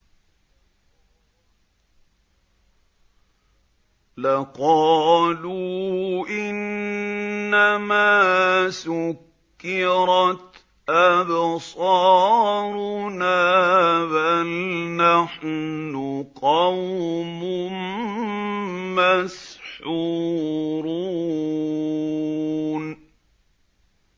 لَقَالُوا إِنَّمَا سُكِّرَتْ أَبْصَارُنَا بَلْ نَحْنُ قَوْمٌ مَّسْحُورُونَ